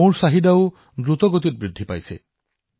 মৌৰ চাহিদা আৰু দ্ৰুতগতিত বাঢ়িছে